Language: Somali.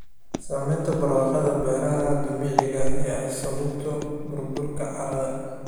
Saamaynta barwaaqada beeraha dabiiciga ah ee ay sababto burburka carrada.